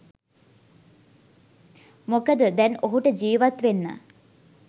මොකද දැන් ඔහුට ජිවත් වෙන්න